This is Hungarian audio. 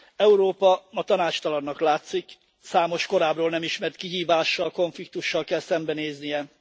Európa ma tanácstalannak látszik, számos korábbról nem ismert kihívással, konfliktussal kell szembenéznie.